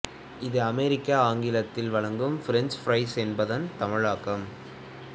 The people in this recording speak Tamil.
இது அமெரிக்க ஆங்கிலத்தில் வழங்கும் ஃபிரெஞ்ச் ஃபிரைஸ் என்பதன் தமிழாக்கம்